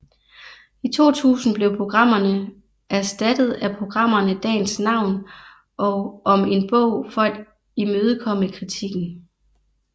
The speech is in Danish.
I 2000 blev programmerne erstattet af programmerne Dagens Navn og Om en bog for at imødekomme kritikken